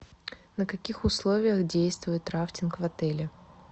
на каких условиях действует рафтинг в отеле